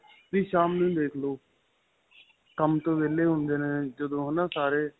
ਵੀ ਸ਼ਾਮ ਨੁੰ ਦੇਖਲੋ ਕੰਮ ਤੋ ਵੇਹਲੇ ਹੁੰਦੇ ਨੇ ਜਦੋਂ ਹੈਨਾ ਸਾਰੇ